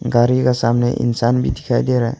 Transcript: गारी का सामने इंसान भी दिखाई दे रहा है।